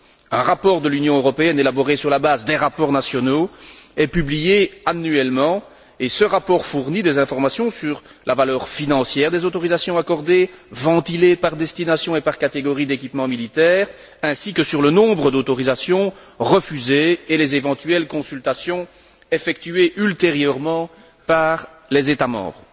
Un rapport de l'Union européenne élaboré sur la base des rapports nationaux est publié annuellement et ce rapport fournit des informations sur la valeur financière des autorisations accordées, ventilées par destination et par catégorie d'équipement militaire ainsi que sur le nombre d'autorisations refusées et les éventuelles consultations effectuées ultérieurement par les États membres.